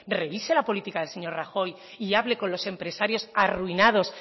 revise la política del señor rajoy y hable con los empresarios arruinados